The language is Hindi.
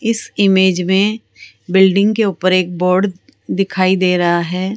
इस इमेज में बिल्डिंग के ऊपर एक बोर्ड दिखाई दे रहा है।